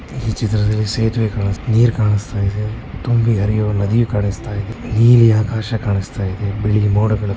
ಈ ಚಿತ್ರದಲ್ಲಿ ಸೇತುವೆ ಕಾಣಿಸ್ತಾ ನೀರ್ ಕಾಣಿಸ್ತಾ ಇದೆ ತುಂಬಿ ಹರಿಯುವ ನದಿ ಕಾಣಿಸ್ತಾ ಇದೆ ನೀಲಿ ಆಕಾಶ ಕಾಣಿಸ್ತಾ ಇದೆ ಬಿಳಿ ಮೋಡಗಳು ಕಾಣಿಸ್ತಾ ಇದೆ.